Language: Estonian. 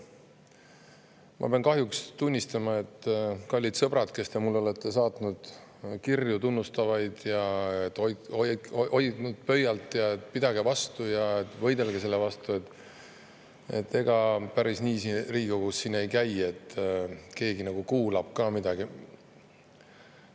Ma pean kahjuks tunnistama, kallid sõbrad, kes te olete mulle tunnustavaid kirju saatnud ja hoidnud pöialt, et pidage vastu ja võidelge selle vastu, et ega päris nii siin Riigikogus asjad ei käi, et keegi kuulab ka midagi.